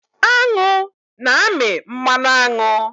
Aṅụ na-amị mmanụ aṅụ.